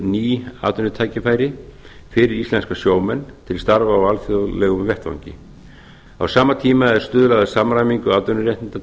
ný atvinnutækifæri fyrir íslenska sjómenn til starfa á alþjóðlegum vettvangi á sama tíma er stuðlað að samræmingu atvinnuréttinda